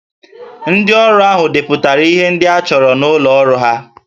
Ndị ọrụ ahụ depụtara ihe ndị a chọrọ n'ụlọ ọrụ ha